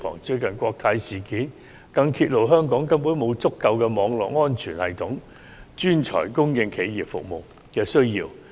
最近的國泰事件更揭露香港根本沒有足夠的網絡安全系統專才，以應付企業服務的需要。